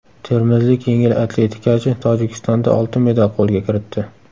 Termizlik yengil atletikachi Tojikistonda oltin medal qo‘lga kiritdi.